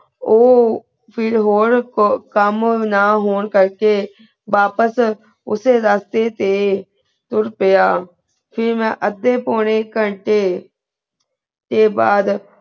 ਊ ਫਿਰ ਹੋਰ ਕੋ ਕਾਮ ਨਾ ਹੋਣ ਕਰ ਕੇ ਵਾਪਿਸ ਉਸੀ ਰਸਤੇ ਤੇ ਤੁਰ ਪ੍ਯ ਫਿਰ ਮੈਂ ਅੱਡੀ ਪੋਨੀ ਕਾਂਟੇ ਤੇ ਬਾਅਦ